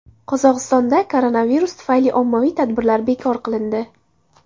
Qozog‘istonda koronavirus tufayli ommaviy tadbirlar bekor qilindi.